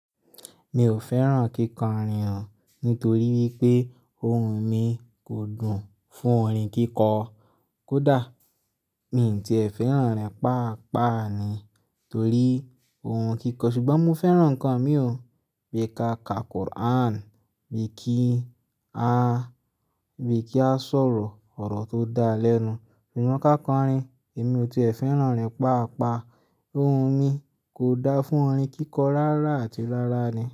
Mi ò fẹ́ràn kíkọrin nítorí wípé ohun mi kò dùn fún orin kíkọ. Kódà mi tíẹ fẹ́ràn orin pàápàá ni torí orin kíkọ. Ṣùgbọ́n mo fẹ́ràn ǹkan mí ò bí ka ka Quran, bí kí a, bí kí a sọ̀rọ̀ ọ̀rọ̀ tó dá lẹ́nu. Ṣùgbọ́n ká kọrin èmi ò tíẹ fẹ́ràn rẹ̀ pàápàá. Ohun mi kò dá fún orin kíkọ rárá àti rárá ni.